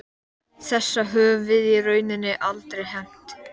Þessa höfum við í rauninni aldrei hefnt.